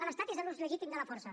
l’estat és l’ús legítim de la força